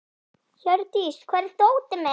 Hjördís, hvar er dótið mitt?